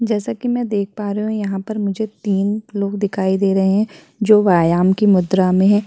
जैसा कि मैं देख पा रही हूं यहाँ पर मुझे तीन लोग दिखाई देते हैं जो व्यायाम की मुद्रा मे हैं।